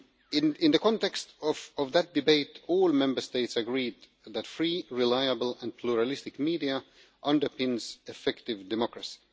In the context of that debate, all Member States agreed that free, reliable and pluralistic media underpins effective democracy.